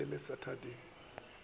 e be e le saterdag